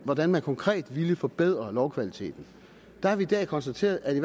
hvordan man konkret ville forbedre lovkvaliteten der har vi i dag konstateret at det